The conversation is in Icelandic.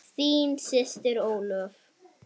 Þín systir Ólöf.